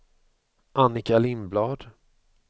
Annika Lindblad